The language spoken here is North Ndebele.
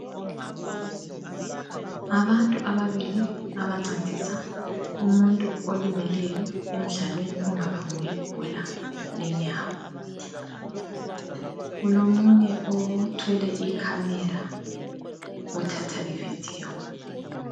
Abantu ababili abancedisa umuntu olimeleyo emdlalweni ongaba ngowebhola lenyawo. Kulomunye othwele ikhamera othatha ividiyo.